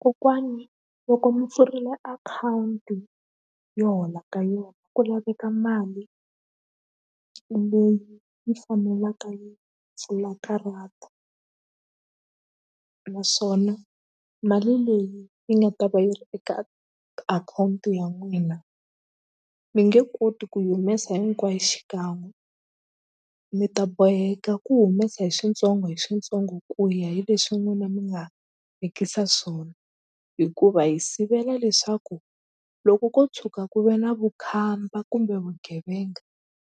Kokwani loko mi pfurile akhawunti yo hola ka yo ku laveka mali leyi yi fanelaka yi pfula karata naswona mali leyi yi nga ta va yi ri eka akhawunti ya n'wina mi nge koti ku yi humesa hinkwayo xikan'we mi ta boheka ku humesa hi switsongo hi switsongo ku ya hi leswi n'wina mi nga vekisa swona hikuva hi sivela leswaku loko ko tshuka ku ve na vukhamba kumbe vugevenga